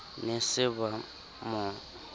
ne ba se ba mo